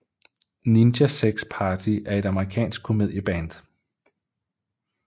Ninja Sex Party er et amerikansk komedieband